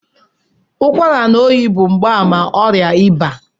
Ụkwara na oyi bụ mgbaàmà ọrịa ịba